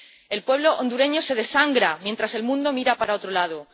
El pueblo hondureño se desangra mientras el mundo mira para otro lado.